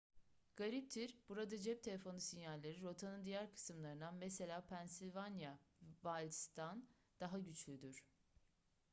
gariptir burada cep telefonu sinyalleri rotanın diğer kısımlarından mesela pennyslvania wilds'dan daha güçlüdür